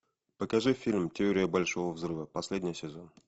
покажи фильм теория большого взрыва последний сезон